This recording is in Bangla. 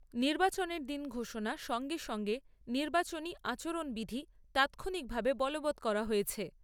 নির্বাচনের দিন ঘোষণার সঙ্গে সঙ্গে নির্বাচনী আচরণবিধি তাৎক্ষণিকভাবে বলবৎ করা হয়েছে ।